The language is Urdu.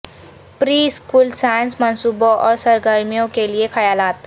پری اسکول سائنس منصوبوں اور سرگرمیوں کے لئے خیالات